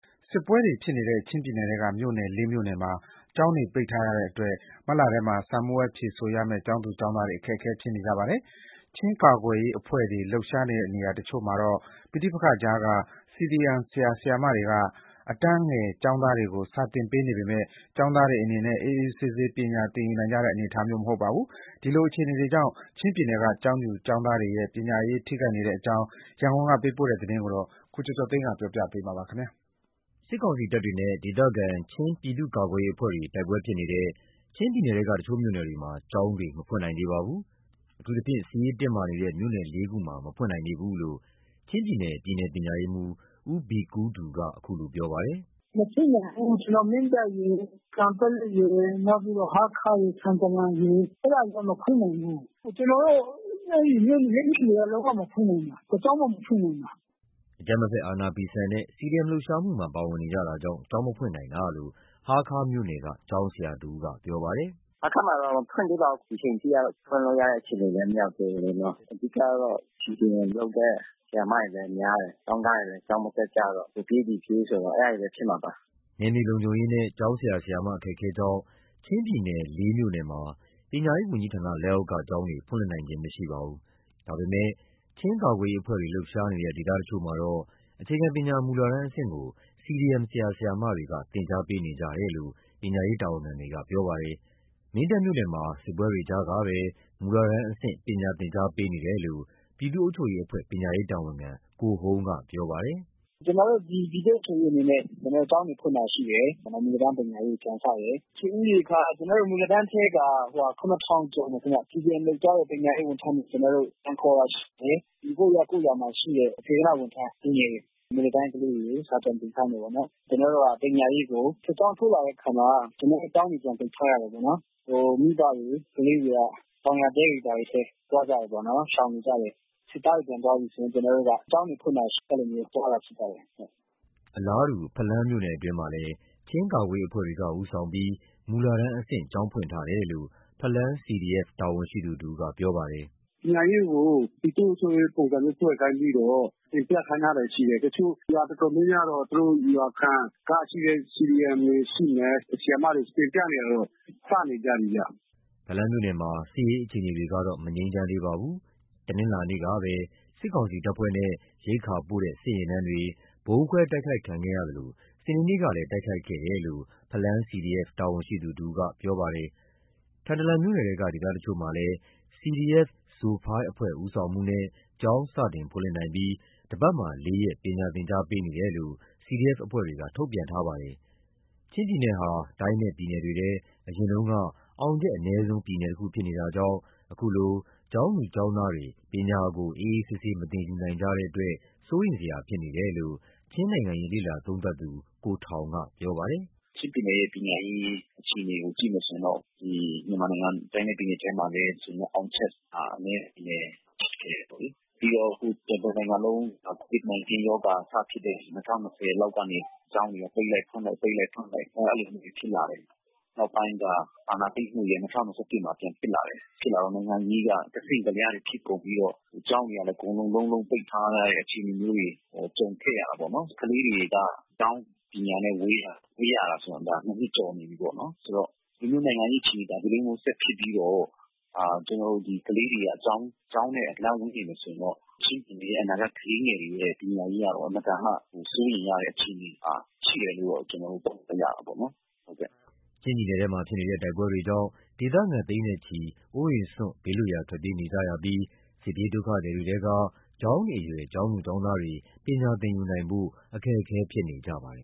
စစ်ပွဲတွေဖြစ်နေတဲ့ ချင်းပြည်နယ်ထဲက မြို့နယ် ၄ မြို့နယ်မှာ ကျောင်းတွေ ပိတ်ထားရတဲ့အတွက် မတ်လထဲမှာ စာမေးပွဲဖြေဆိုရမယ့် ကျောင်းသူ ကျောင်းသားတွေ အခက်အခဲဖြစ်နေကြပါတယ်။ ချင်းကာကွယ်အဖွဲ့တွေ လှုပ်ရှားနေတဲ့နေရာတချို့မှာတော့ ပဋိပက္ခကြားက CDM ဆရာ၊ ဆရာမတွေက အတန်းငယ်ကျောင်းသားတွေကို စာသင်ပေးနေပေမယ့် ကျောင်းသားတွေအနေနဲ့ အေးအေးဆေးဆေး ပညာသင်ယူနိုင်ကြတဲ့ အနေအထားမျိုး မဟုတ်ပါဘူး။ ဒီလိုအခြေအနေတွေကြောင့် ချင်းပြည်နယ်က ကျောင်းသူ ကျောင်းသားတွေရဲ့ ပညာရေး ထိခိုက်နေတဲ့ အကြောင်း ရန်ကုန်က ပေးပို့တဲ့သတင်းကို ကိုကျော်ကျော်သိန်းက တင်ပြပေးထားပါတယ်။ စစ်ကောင်စီတပ်တွေနဲ့ ဒေသခံချင်းပြည်သူ့ကာကွယ်ရေးအဖွဲ့တွေ တိုက်ပွဲတွေဖြစ်နေတဲ့ ချင်းပြည်နယ်ထဲက တချို့မြို့နယ်တွေမှာ ကျောင်းတွေ မဖွင့်နိုင်သေးပါဘူး။ အထူးသဖြင့် စစ်ရေးတင်းမာနေတဲ့ မြို့နယ် ၄ ခုမှာ မဖွင့်နိုင်သေးဘူးလို့ ချင်းပြည်နယ် ပြည်နယ်ပညာရေးမှူး ဦးဘီကူးဒူက အခုလိုပြောပါတယ်။ “မဖွင့်နိုင်သေးဘူး။ ကျနော်တို့ မင်းတပ်ရယ်၊ ကန်ပက်လက်ရယ်၊ နောက်ပြီးတော့ ဟားခါးရယ်။ ထန်တလန်ရယ် မဖွင့်နိုင်သေးဘူး။ အဲဒီ မြို့နယ်တော့ လုံးဝမဖွင့်နိုင်သေးဘူး။” ချင်းပြည်နယ်ရဲ့မြို့တော် ဟားခါးမြို့မှာ နယ်မြေအေးချမ်းမှုမရှိတဲ့အပြင် ကျောင်းဆရာဆရာမတွေက အကြမ်းမဖက် အာဏာဖီဆန်တဲ့ CDM လှုပ်ရှားမှုမှာ ပါဝင်နေကြတာကြောင့် ကျောင်းမဖွင့်နိုင်တာလို့ ဟားခါးမြို့နယ် ကျောင်းဆရာဦးက ပြောပါတယ်။ “ဟားခါးမှာတော့မဖွင့်သေးပါဘူး။ အခုချိန်ထိကတော့ ဖွင့်လို့ရတဲ့အခြေအနေမရောက်သေးဘူး။ အဓိကကတော့ CDM လုပ်တဲ့ဆရာ ဆရာမတွေလည်း များတယ်။ ကျောင်းသားတွေလည်း ကျောင်းမတက်ကြတော့ဘူး။ ဟိုပြေး ဒီပြေးဆိုတော့ အဲဒါတွေပဲ ဖြစ်မှာပါ။” နယ်မြေလုံခြုံရေးနဲ့ ကျောင်းဆရာဆရာမ အခက်ခဲကြောင့် ချင်းပြည်နယ် မြို့နယ်မှာ ပညာရေးဝန်ကြီးဌာနလက်အောက်က ကျောင်းဖွင့်လှစ်နိုင်ခြင်း မရှိပါဘူး။ ဒါပေမယ့် ချင်းကာကွယ်ရေးအဖွဲ့တွေလှုပ်ရှားနေတဲ့ ဒေသတချို့မှာ အခြေခံပညာမူလတန်းအဆင့်ကို CDM ဆရာ ဆရာမတွေက သင်ကြားပေးနေကြတယ်လို့ ပညာရေး တာဝန်ခံတွေက ပြောပြပါတယ်။ မင်းတပ်မြို့နယ်မှာ စစ်ပွဲတွေကြားက မူလတန်းအဆင့် သင်ကြားပေးနေတယ်လို့ ပြည်သူ့အုပ်ချုပ်ရေးအဖွဲ့ ပညာရေးတာဝန်ခံ ကိုဟုန်းကပြောပါတယ်။ “ကျနော်တို့ ပြည်သူ့အုပ်ချုပ်ရေးအနေနဲ့ ကျောင်းတွေဖွင့်တာရှိတယ်။ မူလတန်းပြန်စတယ်။ လူဦးရေက မူလတန်းထဲက ကျော်တယ်ခင်ဗျ။ CDM လုပ်ထားတဲ့ပညာရေးဝန်ထမ်းတွေ ကျနော်တို့ ပြန်ခေါ်တာရှိတယ်။ ကိုယ့်ရပ်ကိုယ်ရွာမှာရှိတဲ့ စေတနာ့ဝန်ထမ်းလူငယ်တွေ၊ မူလတန်းကလေးတွေကို စာပြန်သင်ခိုင်း တာပေါ့နော်။ ပညာရေးကို စစ်ကြောင်းထိုးလာတဲ့အခါမှာ ကျောင်းတွေပြန်ပိတ်ထား ရတာပေါ့နော်။ မိဘတွေ၊ကလေးတွေက တောင်ယာတဲတွေဘာတွေထဲ သွားကြတာပေါ့နော်။ ရှောင်နေကြတယ်။ စစ်သားတွေပြန်သွားပြီးဆိုရင် ကျောင်းတွေဖွင့်တာရှိတယ်။ အဲဒီလိုမျိုးသွားတယ်။” အလားတူ ဖလမ်းမြို့နယ်အတွင်းမှာလည်း ချင်းကာကွယ်ရေးအဖွဲ့တွေကနေဦးဆောင်ပြီး မူလတန်းအဆင့် ကျောင်းဖွင့်ထားတယ်လို့ ဖလမ်း CDF တာဝန်ရှိသူတဦးက ပြောပါတယ်။ “ပညာရေးကို ပြည်သူ့အုပ်ချုပ်ရေးပုံစံမျိုးဖွဲ့ခိုင်းပြီးတော့ သင်ပြခိုင်းထားတာရှိတယ်။ နေရာတော်တော်များများတော့ သူတို့ရွာခံက CDM တွေရှိမယ်။ ဆရာမတွေတော့ သင်ပြတာတွေ စနေကြပြီဗျ။” ဖလမ်းမြို့နယ်မှာ စစ်ရေးအခြေအနေတွေကတော့ မငြိမ်းချမ်းသေးပါဘူး။ တနင်္လာနေ့ကပဲ စစ်ကောင်စီတပ်ဖွဲ့ နဲ့ရိက္ခာပို့တဲ့ စစ်ယာဉ်တန်းတွေ ဗုံးခွဲတိုက်ခိုက်ခဲ့ကြသလို စနေနေ့ကလည်း တိုက်ခိုက်ခဲ့တယ်လို့ ဖလမ်းCDF တာဝန်ရှိသူတဦးက ပြောပါတယ်။ ထန်တလန်မြို့နယ်ထဲက ဒေသတချို့မှာလည်း CDF – Zophei အဖွဲ့ ဦးဆောင်မှုနဲ့ ကျောင်းစတင်ဖွင့်လှစ်နိုင်ပြီး တပတ်မှာ ၄ ရက် ပညာသင်ကြားပေးနေတယ်လို့ CDF အဖွဲ့တွေကထုတ်ပြန်ထားပါတယ်။ ချင်းပြည်နယ်ဟာ တိုင်းနဲ့ပြည်နယ်တွေထဲမှာ အရင်ကတည်းက အောင်ချက်အနည်းဆုံးပြည်နယ်တခု ဖြစ်နေတာကြောင့် အခုလို ကျောင်းသူ ကျောင်းသားတွေ ပညာကို အေးအေးဆေးဆေး မသင်ယူနိုင်ကြတဲ့အတွက် စိုးရိမ်စရာဖြစ်နေတယ်လို့ ချင်းနိုင်ငံရေးလေ့လာ သုံးသပ်သူ ကိုထောင်ကပြောပါတယ်။ “ချင်းပြည်နယ်ရဲ့ပညာရေးအခြေအနေကိုကြည့်ရင်တော့ မြန်မာနိုင်ငံတိုင်းနဲ့ပြည်နယ်ထဲမှာလည်း အောင်ချက် မှာ အနည်းဆုံးပဲ ဖြစ်နေတယ်။ ပြီးတော့တနိုင်ငံလုံးမှာ COVID-19 ရောဂါစဖြစ်တဲ့ ၂၀၂၀ လောက်ကနေ ကျောင်းတွေက ပိတ်လိုက် ဖွင့်လိုက်။ ပိတ်လိုက် ဖွင့်လိုက် အဲဒီလိုမျိုးတွေဖြစ်လာတယ်။ နောက်ပိုင်းက အာဏာသိမ်းမှုတွေ ၂၀၂၁ မှာပြန်ဖြစ်လာတယ်။ ဖြစ်လာတော့နိုင်ငံရေးက ကစဉ့်ကလျားတွေဖြစ်ကုန်ပြီး ကျောင်းတွေကလည်း အကုန် လုံးလုံးပိတ်ထားရတဲ့အခြေအနေမျိုးတွေ ကြုံခဲ့ရတာပေါ့နော်။ ကလေးတွေက ကျောင်းပညာနဲ့ဝေးရတာက နှစ် ကျော်ပြီးပေါ့နော်။ ဆိုတော့ နိုင်ငံရေးအခြေအနေမှာ ဒီလိုမျိုးဆက်ဖြစ်ပြီးတော့ ကလေးတွေက ကျောင်း နဲ့အလှန်းဝေးနေမယ်ဆိုရင်တော့ ကလေးငယ်တွေရဲ့ပညာရေးက အင်မတန်မှ စိုးရိမ်ရတဲ့အခြေအနေမှာ ရှိတယ်လို့တော့ သုံးသပ်ရတာပေါ့နော်။” ချင်းပြည်နယ်ထဲမှာဖြစ်နေတဲ့ တိုက်ပွဲတွေကြောင့် ဒေသခံ သိန်းနဲ့ချီ အိုးအိမ်စွန့် ဘေးလွတ်ရာ ထွက်ပြေးနေကြရပြီး၊ စစ်ပြေးဒုက္ခသည်တွေထဲက ကျောင်းနေအရွယ် ကျောင်းသူ ကျောင်းသားတွေ ပညာသင်ယူနိုင်ဖို့ အခက်အခဲဖြစ်နေကြပါတယ်